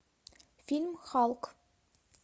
фильм халк